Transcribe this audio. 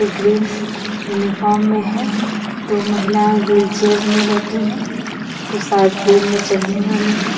Green uniform में है दो महिलाये वील चेयर में बैठी है जो सायद प्लेन मे चढने वाली हैं.